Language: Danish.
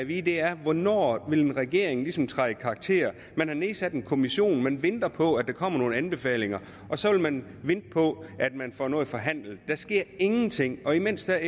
vide er hvornår regeringen ligesom vil træde i karakter man har nedsat en kommission man venter på at der kommer nogle anbefalinger og så vil man vente på at man får noget forhandlet der sker ingenting og imens er